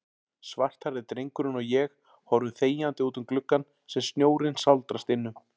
Svarthærði drengurinn og ég horfum þegjandi útum gluggann sem snjórinn sáldrast innum.